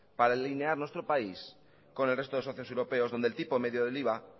para alinear nuestro país con el resto de socios europeos donde el tipo medio de iva